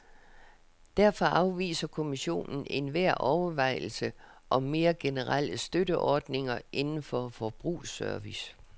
Derfor afviser kommissionen enhver overvejelse om mere generelle støtteordninger inden for forbrugsservice.